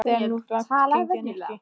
Þetta er nú of langt gengið, Nikki.